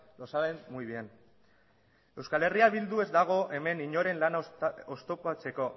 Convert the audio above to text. lo saben muy bien eh bildu ez dago hemen inoren lana oztopatzeko